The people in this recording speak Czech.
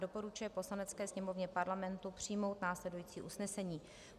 doporučuje Poslanecké sněmovně Parlamentu přijmout následující usnesení: